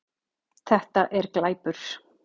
Þetta er glæpur